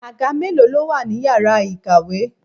Àga mélòó ló wà ní ìyára ìkàwé?